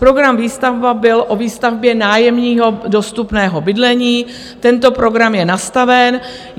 Program Výstavba byl o výstavbě nájemního dostupného bydlení, tento program je nastaven.